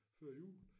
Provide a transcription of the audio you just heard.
Før jul